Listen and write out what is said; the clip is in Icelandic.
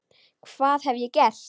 Hvað hef ég gert?.